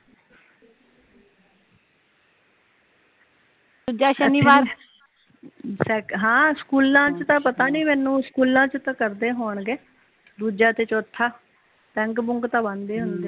ਹਮ ਸਕੂਲਾਂ ਚ ਤਾ ਪਤਾ ਨੀ ਮੈਨੂੰ ਸਕੂਲਾਂ ਚ ਤਾ ਕਰਦੇ ਹੋਣਗੇ ਦੂਜਾ ਤੇ ਚੋਥਾ ਬੈਂਕ ਬੂੰਕ ਤਾ ਬੰਦ ਹੀ ਹੁੰਦੇ